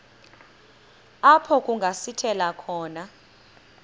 apho kungasithela khona